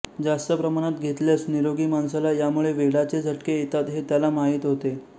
जास्त प्रमाणात घेतल्यास निरोगी माणसाला यामुळे वेडाचे झटके येतात हे त्याला माहीत होते